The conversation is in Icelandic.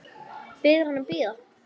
Biður hann að bíða.